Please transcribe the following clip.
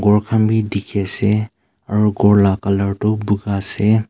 gor khan bhi dikhi ase aru ghor la colour tu buka ase.